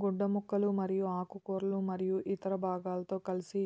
గుడ్డ ముక్కలు మరియు ఆకుకూరలు మరియు ఇతర భాగాలతో కలిసి